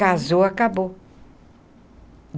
Casou, acabou.